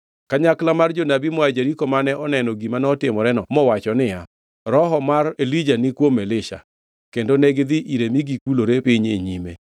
Kanyakla mar jonabi moa Jeriko mane oneno gima notimoreno mowacho niya, “Roho mar Elija ni kuom Elisha.” Kendo negidhi ire mi gikulore piny e nyime.